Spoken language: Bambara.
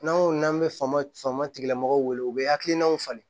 N'an ko n'an bɛ faama fama tigilamɔgɔ wele u bɛ hakilinaw falen